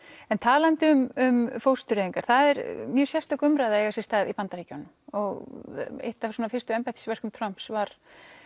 talandi um fóstureyðingar það er mjög sérstök umræða að eiga sér stað í Bandaríkjunum og eitt af fyrstu embættisverkum Trumps var